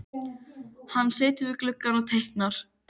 Hann situr við gluggann og teiknar.